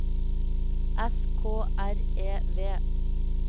S K R E V